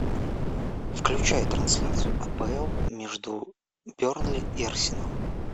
включай трансляцию апл между бернли и арсенал